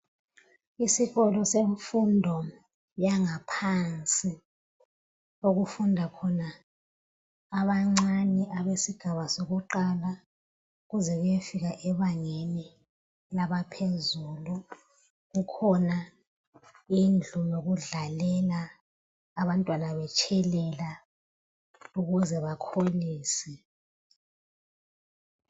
Isikolo semfundo yebanga eliphansi okufunda khona abancane besigaba sakuqala kuze kuyefika ebangeni laphezulu. Kukhona indlu yokudlalela abantwana betshelela ukuze bakholise.